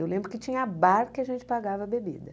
Eu lembro que tinha bar que a gente pagava bebida.